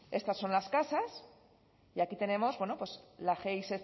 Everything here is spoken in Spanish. estas son las casas y aquí tenemos la gi